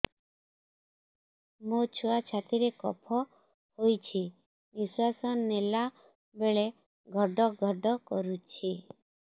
ମୋ ଛୁଆ ଛାତି ରେ କଫ ହୋଇଛି ନିଶ୍ୱାସ ନେଲା ବେଳେ ଘଡ ଘଡ କରୁଛି